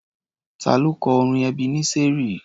Ta ló kọ orin Ebeneseri?